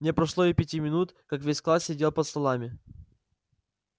не прошло и пяти минут как весь класс сидел под столами